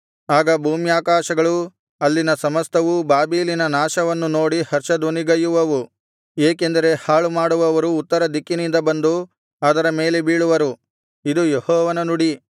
ಆಗ ಭೂಮ್ಯಾಕಾಶಗಳೂ ಅಲ್ಲಿನ ಸಮಸ್ತವೂ ಬಾಬೆಲಿನ ನಾಶವನ್ನು ನೋಡಿ ಹರ್ಷಧ್ವನಿಗೈಯುವವು ಏಕೆಂದರೆ ಹಾಳುಮಾಡುವವರು ಉತ್ತರ ದಿಕ್ಕಿನಿಂದ ಬಂದು ಅದರ ಮೇಲೆ ಬೀಳುವರು ಇದು ಯೆಹೋವನ ನುಡಿ